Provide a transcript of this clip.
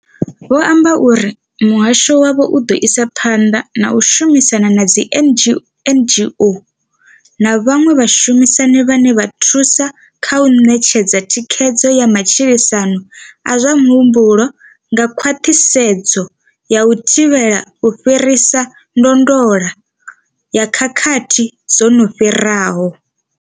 Vho amba uri muhasho wavho u ḓo isa phanḓa na u shumisana na dzi NGO na vhaṅwe vhashumisani vhane vha thusa kha u ṋetshedza thikhedzo ya matshilisano a zwa muhumbulo nga khwaṱhisedzo ya u thivhela u fhirisa ndondolo ya khakhathi dzo no fhiraho.